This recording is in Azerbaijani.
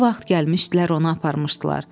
Bu vaxt gəlmişdilər, onu aparmışdılar.